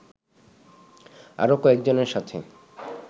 আরো কয়েকজনের সাথে